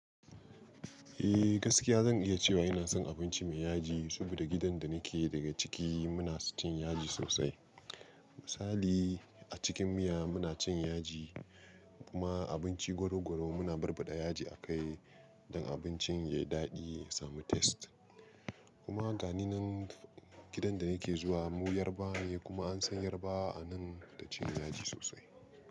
Eh gaskiya zan iya cewa ina son abinci mai yaji, saboda gidan da nake daga ciki muna cin yaji sosai. Misali a cikin miya muna cin yaji kuma abinci goro goro muna barbaɗa yaji a kai don abincin ya yi daɗi, ya samu taste. Kuma gani nan gidan da nake zuwa mu Yarbawa ne kuma an san Yarbawa a nan da cin yaji sosai.